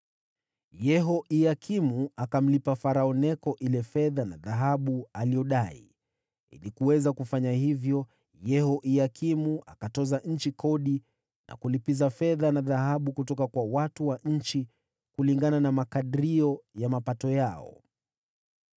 Yehoyakimu akamlipa Farao Neko ile fedha na dhahabu aliyodai. Ili kuweza kufanya hivyo, Yehoyakimu akatoza nchi kodi na kulipiza fedha na dhahabu kutoka kwa watu wa nchi kulingana na makadrio ya mapato yao.